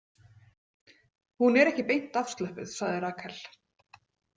Hún er ekki beint afslöppuð, sagði Rakel.